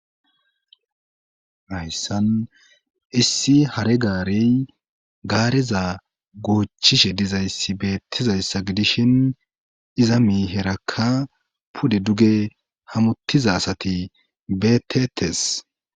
Hayssan issi hare gaari gaareza goochishe dizayssi beettizayssa gidishin iza miiherakka pude duge hamuttiza asati beetetes.